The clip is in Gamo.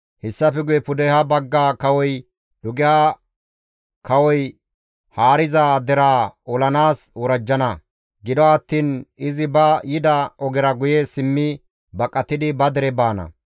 Hessafe guye pudeha bagga kawoy dugeha kawoy haariza deraa olanaas worajjana; gido attiin izi ba yida ogera guye simmi baqatidi ba dere baana.